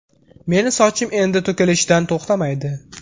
Meni sochim endi to‘kilishidan to‘xtamaydi.